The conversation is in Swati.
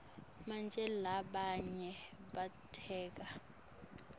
manje labanye bateka